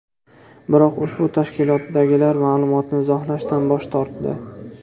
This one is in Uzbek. Biroq ushbu tashkilotdagilar ma’lumotni izohlashdan bosh tortdi.